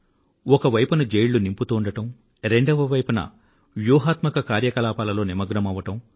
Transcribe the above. ఒక వైపున జైళ్ళు నింపుతూ ఉండడం రెండవ వైపున వ్యూహాత్మక కార్యకలాపాలలో నిమగ్నమవడం